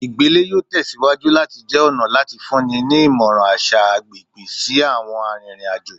igbele yoo tẹsiwaju lati jẹ ọna lati funni ni imọran aṣa agbegbe si awọn aririn ajo